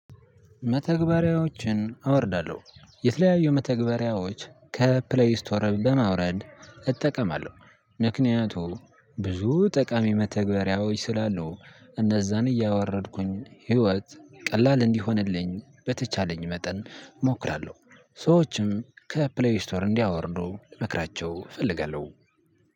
መተግበሪያዎችን አወርዳለሁ የተለያዩ መተግበሪያዎች ከፕሌይ ስቶር በማውረድ እጠቀማለሁ። ምክንያቱም ብዙ ጠቃሚ መተግበሪያዎች ስላሉ እነዛን እያወረድኩኝ ህይወት ቀላል እንዲሆንልኝ በተቻለኝ መጠን እሞክራለሁ ሰዎችም ከፕሌይ ስቶር እንዲያወርዱ ልመክራቸው እፈልጋለሁ።